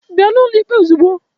Bịa n'ụlọ ikpe ozugbo!